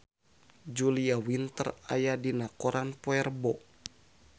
Julia Winter aya dina koran poe Rebo